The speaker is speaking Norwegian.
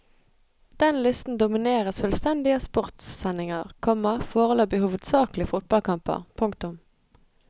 Den listen domineres fullstendig av sportssendinger, komma foreløpig hovedsakelig fotballkamper. punktum